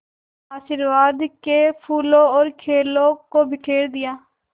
आशीर्वाद के फूलों और खीलों को बिखेर दिया